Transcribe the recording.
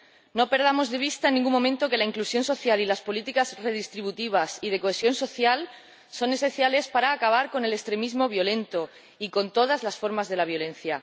No perdamos de vista en ningún momento que la inclusión social y las políticas redistributivas y de cohesión social son esenciales para acabar con el extremismo violento y con todas las formas de la violencia.